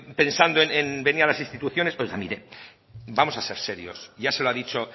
pensando en venir a las instituciones oiga mire vamos a ser serios ya se lo ha dicho